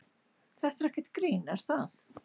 Þetta er ekkert grín er það?